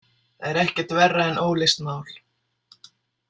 Það er ekkert verra en óleyst mál.